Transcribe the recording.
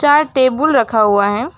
चार टेबुल रखा हुआ है।